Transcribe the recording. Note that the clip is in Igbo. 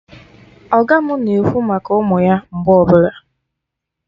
Ọga mụ na-ekwu maka ụmụ ya mgbe ọbụla